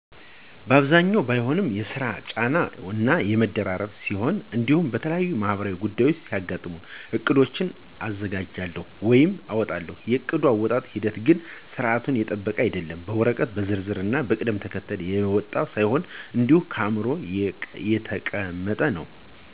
በአብዛኛው ባይሆንም የስራ ጫና እና መደራረብ ሲኖር እንዲሁም የተለያዩ ማህበራዊ ጉዳዮች ሲያጋጥሙ ዕቅዶችን አዘጋጃለሁ ወይም አወጣለሁ። የዕቅድ አወጣጠጥ ሂደት ግን ስርዓቱን የጠበቀ አይደለም፤ በወረቀት በዝርዝር ና በቅደም ተከተል የወጣ ሳይሆን እንዲሁ በአዕምሮዬ የተቀመጠ ነው።